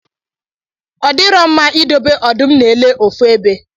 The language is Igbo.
Ọdirọ mma idobe ọdụm na ele ofu ebe